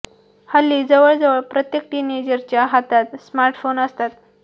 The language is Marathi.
हल्ली जवळ जवळ प्रत्येक टीनेजर च्या हातात स्मार्ट फोन्स असतात